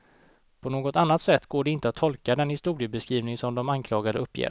På något annat sätt går det inte att tolka den historiebeskrivning som de anklagande uppger.